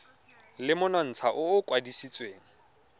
le monontsha o o kwadisitsweng